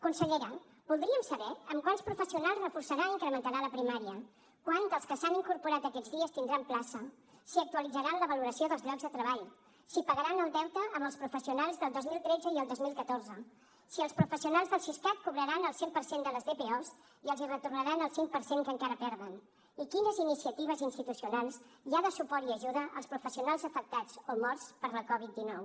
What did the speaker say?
consellera voldríem saber amb quants professionals reforçarà i incrementarà la primària quants dels que s’han incorporat aquests dies tindran plaça si actualitzaran la valoració dels llocs de treball si pagaran el deute amb els professionals del dos mil tretze i el dos mil catorze si els professionals del siscat cobraran el cent per cent de les dpos i els retornaran el cinc per cent que encara perden i quines iniciatives institucionals hi ha de suport i ajuda als professionals afectats o morts per la covid dinou